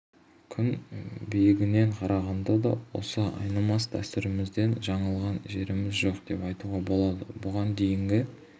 күн биігінен қарағанда да осы айнымас дәстүрімізден жаңылған жеріміз жоқ деп айтуға болады бұған дейінгі